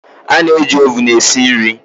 A na-eji ovun esi nri